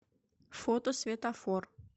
фото светафор